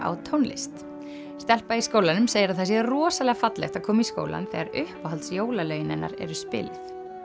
á tónlist stelpa í skólanum segir að það sé rosalega fallegt að koma í skólann þegar uppáhalds jólalögin hennar eru spiluð